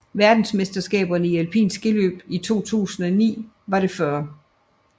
Verdensmesterskaberne i alpint skiløb 2009 var det 40